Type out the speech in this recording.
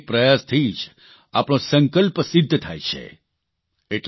આપણા એક એક પ્રયાસથી જ આપણો સંકલ્પ સિદ્ધ થાય છે